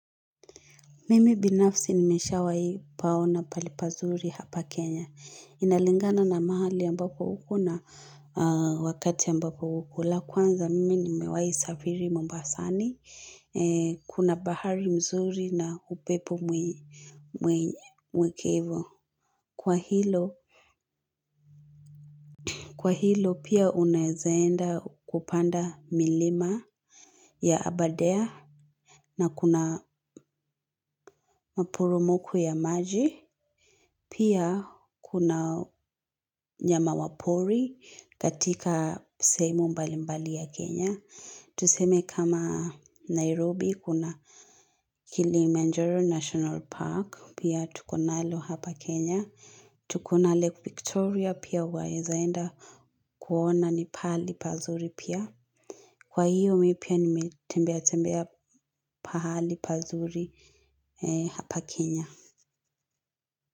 Mimi binafsi nimeshawahi paona pahali pazuri hapa Kenya. Inalingana na mahali ambako uko na wakati ambao uko. La kwanza, mimi nimewahi safiri mombasani, kuna bahari nzuri na upepo mwekevo. Kwa hilo, kwa hilo pia unaeza enda kupanda milima ya Abadare. Na kuna maporomoko ya maji. Pia kuna nyama wa pori katika sehemu mbali mbali ya Kenya. Tuseme kama Nairobi, kuna Kilimanjaro National Park. Pia tuko nalo hapa Kenya. Tuko na lake Victoria pia waeza enda kuona ni pahali pazuri pia. Kwa hiyo mi pia nimetembea tembea pahali pazuri hapa Kenya.